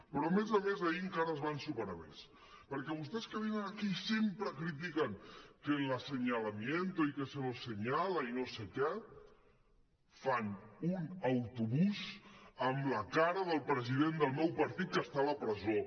però a més a més ahir encara es van superar més perquè vostès que venen aquí i sempre critiquen que el aseñalamiento i que se nos señalabús amb la cara del president del meu partit que està a la presó